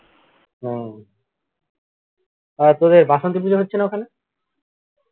হুম তারপরে বাসন্তী পূজা হচ্ছেনা ওখানে